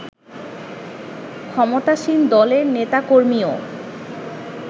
ক্ষমতাসীন দলের নেতাকর্মীও